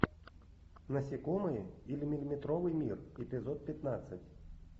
насекомые или миллиметровый мир эпизод пятнадцать